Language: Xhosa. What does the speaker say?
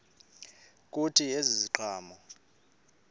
kuthi ezi ziqhamo